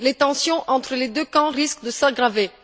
Les tensions entre les deux camps risquent de s'aggraver.